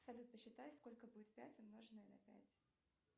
салют посчитай сколько будет пять умноженное на пять